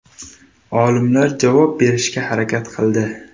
Olimlar javob berishga harakat qildi.